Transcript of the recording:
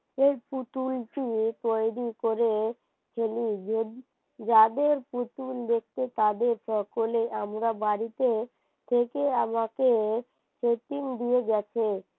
যাদের পুতুল দেখতে পাবে সকলে আমরা বাড়িতে থেকে আমাকে setting দিয়ে গেছে